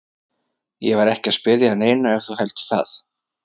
Ég var ekki að spyrja að neinu ef þú heldur það.